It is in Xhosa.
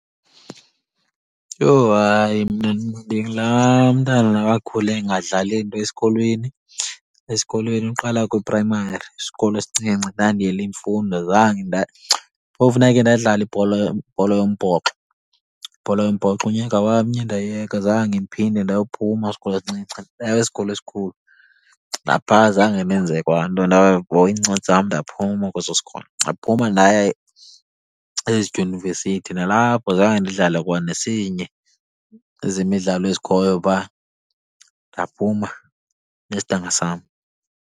Yho hayi, mna ndingulaa mntana wakhula engadlali nto esikolweni. Esikolweni uqala kwiprayimari, isikolo esincinci, ndandiyele imfundo zange . Phofu ndakhe ndadlala ibhola , ibhola yombhoxo, ibhola yombhoxo unyaka wamnye ndayeka. Zange ndiphinde ndayophuma kwisikolo esincinci ndaya kwisikolo esikhulu. Napha zange ndenze kwa nto, ndahoya iincwadi zam ndaphuma kweso sikolo. Ndaphuma ndaya ezidyunivesithi, nalapho zange ndidlale kwa nesinye ezemidlalo ezikhoyo phaa, ndaphuma nesidanga sam.